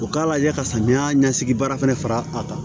U k'a lajɛ ka samiya ɲɛsigi baara fana fara a kan